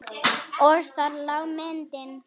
Og þar lá myndin.